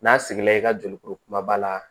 N'a sigi la i ka jolikuru kumaba la